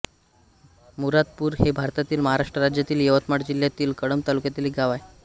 मुरादपूर हे भारतातील महाराष्ट्र राज्यातील यवतमाळ जिल्ह्यातील कळंब तालुक्यातील एक गाव आहे